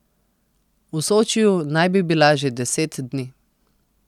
V Sočiju naj bi bila že deset dni.